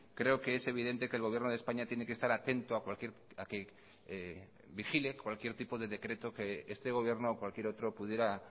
creo que es evidente que el gobierno de españa tiene que estar atento a cualquier a que vigile cualquier tipo de decreto que este gobierno o cualquier otro pudiera